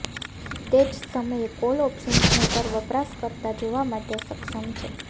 તે જ સમયે કોલ ઓપ્શન્સને પર વપરાશકર્તા જોવા માટે સક્ષમ છે